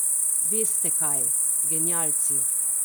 Veste, kaj, genialci.